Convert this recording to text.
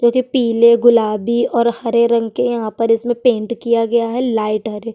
पिले गुलाबी और हरे रंग के और यहाँ पर इसमें पेंट किया गया है लाइट हरे --